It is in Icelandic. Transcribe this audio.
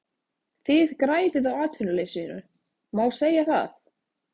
Þið græðið á atvinnuleysinu, má segja það?